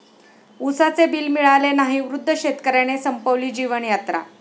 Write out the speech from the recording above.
उसाचे बिल मिळाले नाही, वृद्ध शेतकऱ्याने संपवली जीवनयात्रा